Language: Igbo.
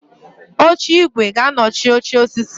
Oche igwe g'anochi oche osisi